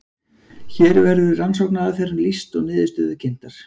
Hér verður rannsóknaraðferðum lýst og niðurstöður kynntar.